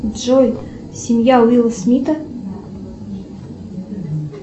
джой семья уилла смита